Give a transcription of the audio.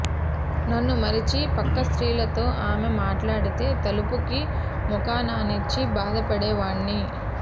నన్ను మరిచి పక్క స్త్రీలతో ఆమె మాట్లాడితే తలుపుకి ముఖాన్నా నించి బాధ పడేవాణ్ణి